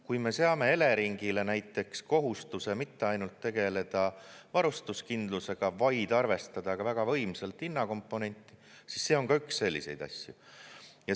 Kui me seame Eleringile näiteks kohustuse mitte ainult tegeleda varustuskindlusega, vaid arvestada ka väga võimsalt hinnakomponenti, siis see on ka üks selliseid asju.